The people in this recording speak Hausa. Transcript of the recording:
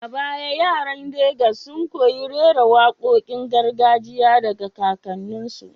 A baya yaran Legas sun koyi rera wakokin gargajiya daga kakanninsu.